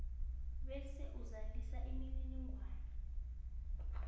bese uzalisa imininingwana